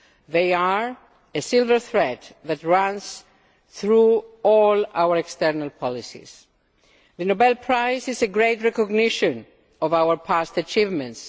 they are a silver thread that runs through all our external policies. The Nobel Prize is a great recognition of our past achievements.